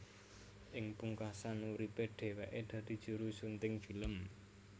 Ing pungkasan uripe dheweke dadi juru sunting film